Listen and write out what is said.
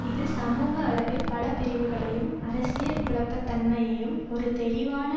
இது சமூக அளவில் பல பிரிவுகளையும் அரசியலில் குழப்பத் தன்மையையும் ஒரு தெளிவான